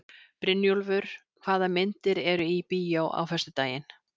Brynjúlfur, hvaða myndir eru í bíó á föstudaginn?